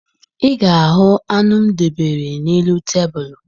Ị ga-ahụ anụ m debere n'elu tebulu